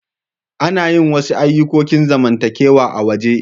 Ana yin wasu ayukokin zamantakewa a'waje.